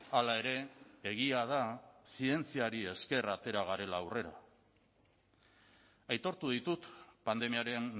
hala ere egia da zientziari esker atera garela aurrera aitortu ditut pandemiaren